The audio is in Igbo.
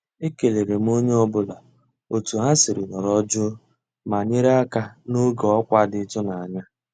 E kéléré m ónyé ọ́ bụ́là ótú há siri nọ̀rọ́ jụ́ụ́ má nyéré àká n'ògé ọ́kwá dị́ ị́tụ́nányá.